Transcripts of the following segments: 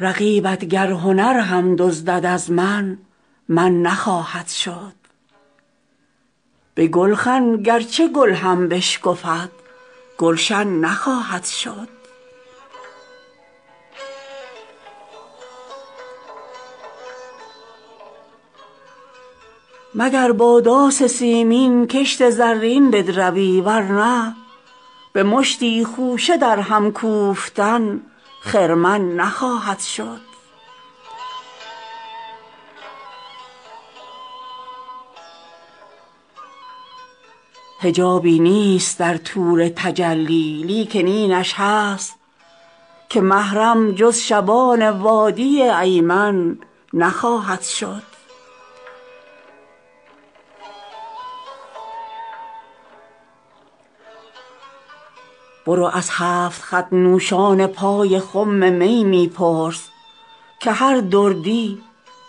رقیبت گر هنر هم دزدد از من من نخواهد شد به گلخن گرچه گل هم بشکفد گلشن نخواهد شد مگر با داس سیمین کشت زرین بدروی ورنه به مشتی خوشه در هم کوفتن خرمن نخواهد شد حجابی نیست در طور تجلی لیکن اینش هست که محرم جز شبان وادی ایمن نخواهد شد برو از هفت خط نوشان پای خم می می پرس که هر دردی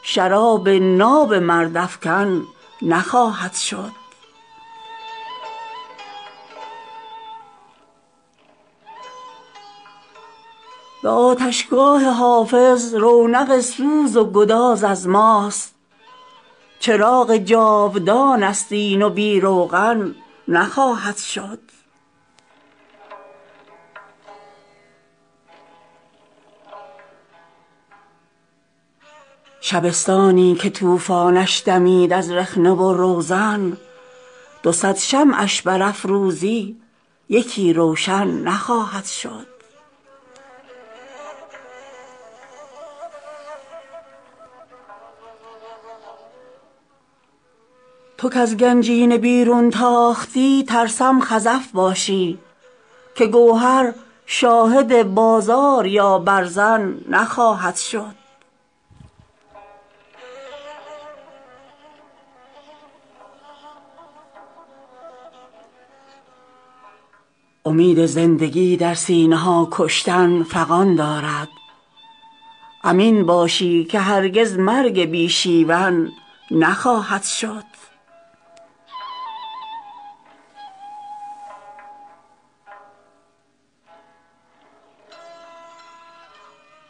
شراب ناب مرد افکن نخواهد شد به سر تاج سهیلش باید و تاراج توفان ها به این سهلی که کوه آبستن معدن نخواهد شد دمیدن در گلوی شیشه نای شیشه گر داند به باد و دم کسی دانای فوت و فن نخواهد شد به آتشگاه حافظ رونق سوز و گداز از ماست چراغ جاودانست این و بی روغن نخواهد شد دریغ از مومیا کرد این طبیب سنگدل با ما مگر دست شکسته بار بر گردن نخواهد شد شبستانی که طوفانش دمید از رخنه و روزن دو صد شمعش برافروزی یکی روشن نخواهد شد تو کز گنجینه بیرون تاختی ترسم خزف باشی که گوهر شاهد بازار یا برزن نخواهد شد کسی کو در حریم حرمت الهام افرشته ست خراب خفت احلام اهریمن نخواهد شد فلک گو نطفه مردی ز زهدان زمین برگیر که این زال سترون دیگر آبستن نخواهد شد امید زندگی در سینه ها کشتن فغان دارد امین باشی که هرگز مرگ بی شیون نخواهد شد تو پنداری که گل بردی و نای بلبلان بستی ندانستی که بی تیغ زبان سوسن نخواهد شد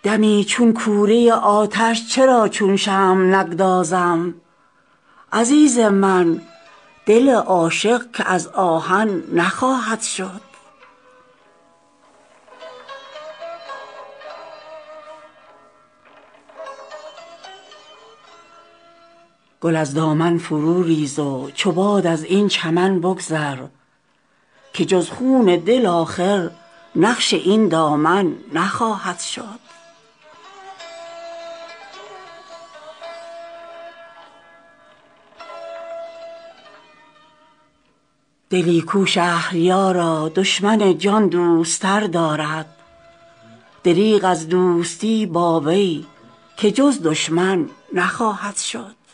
دمی چون کوره آتش چرا چون شمع نگدازم عزیز من دل عاشق که از آهن نخواهد شد به تیر طعنه یعقوب حزین چاک گریبان دوخت ولی گر بادش آرد بوی پیراهن نخواهد شد گل از دامن فرو ریز و چو باد از این چمن بگذر که جز خون دل آخر نقش این دامن نخواهد شد دلی کو شهریارا دشمن جان دوست تر دارد دریغ از دوستی با وی که جز دشمن نخواهد شد